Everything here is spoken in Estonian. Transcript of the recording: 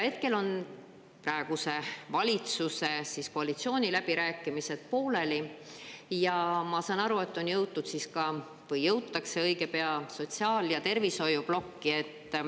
Hetkel on praeguse valitsuse koalitsiooniläbirääkimised pooleli ja ma saan aru, et on jõutud või jõutakse õige pea sotsiaal- ja tervishoiuplokki.